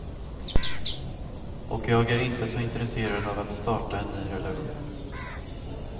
Och jag är inte så intresserad av att starta en ny relation.